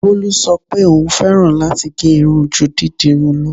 Bolú sọ pé òún fẹ́ràn láti gẹ́ irun ju dídirun lọ.